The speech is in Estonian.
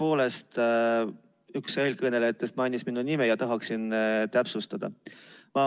Tõepoolest, üks eelkõnelejatest mainis minu nime ja tahaksin täpsustada.